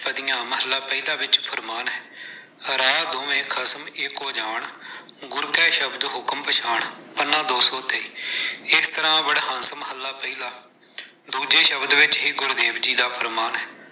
ਮਹੱਲਾ ਪਹਿਲਾ ਵਿਚ ਫਰਮਾਨ ਹੈ- ਰਾਹ ਦੋਵੈ ਖਸਮੁ ਏਕੋ ਜਾਣੁ, ਗੁਰ ਕੈ ਸਬਦਿ ਹੁਕਮੁ ਪਛਾਣੁ-ਪੰਨਾ ਦੋ ਸੌ ਤੇਈ । ਏਸ ਤਰ੍ਹਾਂ ਦੂਜੇ ਸ਼ਬਦ ਵਿੱਚ ਹੀ ਗੁਰੂ ਦੇਵ ਜੀ ਦਾ ਫਰਮਾਨ ਹੈ।